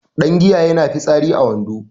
Dangiya yana fitsari a wando